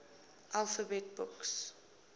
alphabet books